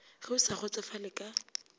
ge o sa kgotsofale ka